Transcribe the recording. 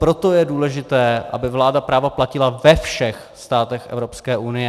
Proto je důležité, aby vláda práva platila ve všech státech Evropské unie.